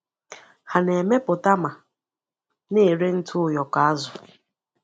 Ha na-emepụta ma na-ere ntụ ụyọkọ azụ.